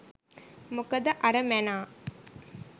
මොකද අර මැනා